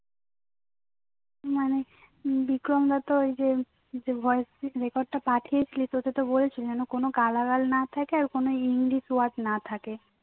মানে বিক্রমদা তো এইযে voice record টা পাঠিয়েছিলি তোকে তো বলছে কোনো গালাগাল না থাকে আর কোনো ইংলিশ ওয়ার্ড না থাকে